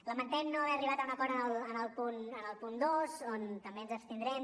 lamentem no haver arribat a un acord en el punt dos en què també ens abstindrem